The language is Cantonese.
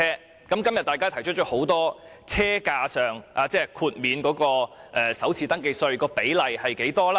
政府近日便提出了很多車價上的財政誘因，包括提高首次登記稅寬減。